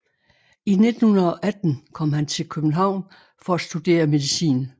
I 1918 kom han til København for at studere medicin